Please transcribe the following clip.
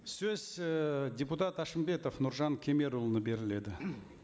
сөз ііі депутат әшімбетов нұржан кемерұлына беріледі